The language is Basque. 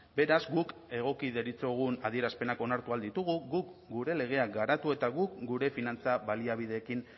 beraz guk egoki deritzogun adierazpenak onartu ahal ditugu guk gure legeak garatu eta guk gure finantza baliabideekin